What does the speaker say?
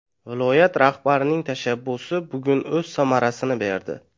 Viloyat rahbarining tashabbusi bugun o‘z samarasini berdi.